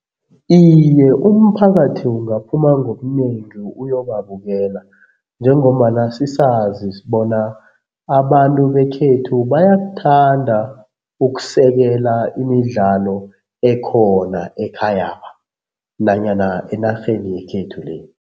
Iye umphakathi ungaphuma ngobunengi uyobabukela njengombana sisazi bona abantu bekhethu bayakuthanda ukusekela imidlalo ekhona ekhayapha, nanyana enarheni yekhethu le.